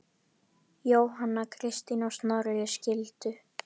Jóhanna Kristín og Snorri skildu.